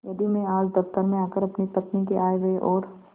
यदि मैं आज दफ्तर में आकर अपनी पत्नी के आयव्यय और